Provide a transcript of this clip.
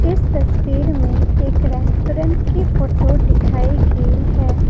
इस तस्वीर में एक रेस्टोरेंट की फोटो दिखाई गई है।